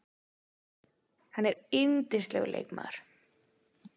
Hann er yndislegur leikmaður